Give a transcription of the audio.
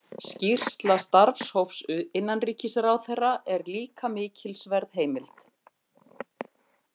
Skýrsla starfshóps innanríkisráðherra er líka mikilsverð heimild.